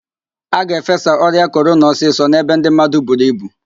A ga-efesa ọrịa korona ọsịsọ n'ebe ndị mmadụ buru ibu